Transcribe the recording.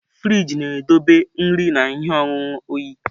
Frịjị na-edobe nri na ihe ọṅụṅụ oyi.